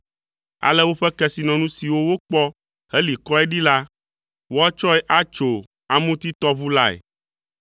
Ale woƒe kesinɔnu siwo wokpɔ heli kɔe ɖi la, woatsɔe atso Amutitɔʋu lae.